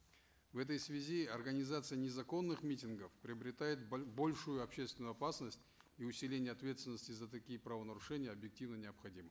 в этой связи организация незаконных митингов приобретает большую общественную опасность и усиление ответственности за такие правонарушения объективно необходимо